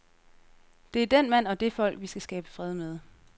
Det er den mand og det folk, vi skal skabe fred med.